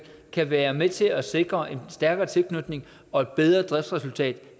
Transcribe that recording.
kan være med til at sikre en stærkere tilknytning og et bedre driftsresultat